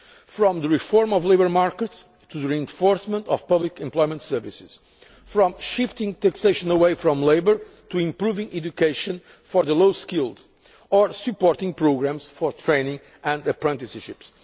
from reforming labour markets to reinforcing public employment services, from shifting taxation away from labour to improving education for the low skilled, or supporting programmes for training and apprenticeships.